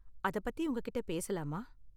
அதை பத்தி உங்ககிட்ட பேசலாமா?